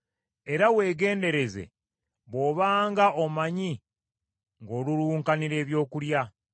era weegendereze bw’obanga omanyi ng’olulunkanira ebyokulya.